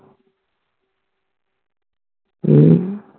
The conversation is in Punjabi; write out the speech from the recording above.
ਹੱਮ